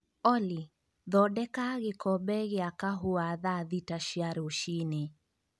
Olly, thondeka gĩkombe gĩa kahũa thaa thita cia rũcinĩ